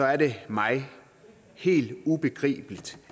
er det mig helt ubegribeligt